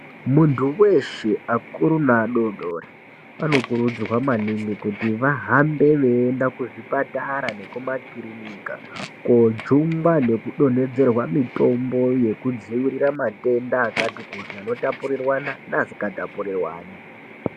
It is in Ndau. Muntu weshe akuru ngeadodori anokurudzirwa maningi kuti vahambe weyienda kuzvipatara nekumakirinika kojungwa nekudonhedzerwa mitombo yekudzivirira matenda akati kuti anotapurirwana neasingatapurirwani.